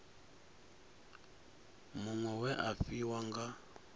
muṅwe we a fhiwa nga